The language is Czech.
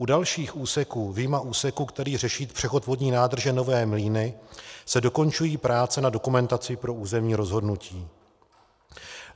U dalších úseků vyjma úseku, který řeší přechod vodní nádrže Nové Mlýny, se dokončují práce na dokumentaci pro územní rozhodnutí.